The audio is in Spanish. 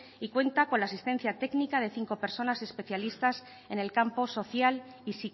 y cuenta con la asistencia técnica de cinco personas especialistas en el campo social y